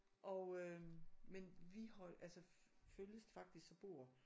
Og øh men vi holdt altså følges faktisk og bor